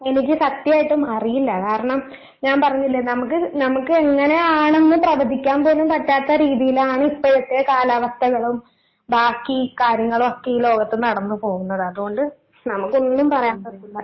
എനിക്ക് സത്യായിട്ടും അറിയില്ല കാരണം ഞാൻ പറഞ്ഞില്ലേ നമുക്ക്, നമുക്ക് എങ്ങനെയാണെന്ന് പ്രവചിക്കാൻ പോലും പറ്റാത്ത രീതിയിലാണ് ഇപ്പോഴത്തെ കാലാവസ്ഥകളും ബാക്കി കാര്യങ്ങളൊക്കെ ഈ ലോകത്ത് നടന്ന് പോകുന്നത് അതുകൊണ്ട് നമുക്ക് ഒന്നും പറയാൻ പറ്റില്ല.